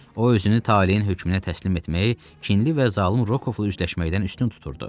O özünü taleyin hökmünə təslim etməyi kinli və zalım Rokovla üzləşməkdən üstün tuturdu.